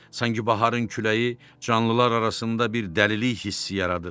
Sanki baharın küləyi canlılar arasında bir dəlilik hissi yaradır.